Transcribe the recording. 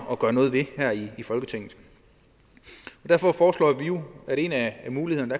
at gøre noget ved her i folketinget og derfor foreslår vi jo at en af mulighederne